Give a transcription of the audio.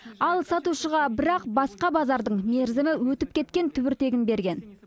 ал сатушыға бірақ басқа базардың мерзімі өтіп кеткен түбіртегін берген